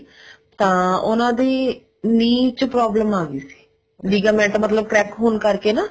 ਤਾਂ ਉਹਨਾ ਦੀ knee ਚ problem ਆਗੀ ਸੀ ligament ਮਤਲਬ crack ਹੋਣ ਕਰਕੇ ਨਾ